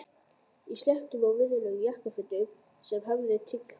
Í sléttum og virðulegum jakkafötum sem hæfðu tign hans.